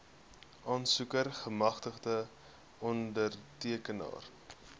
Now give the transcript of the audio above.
aansoeker gemagtigde ondertekenaar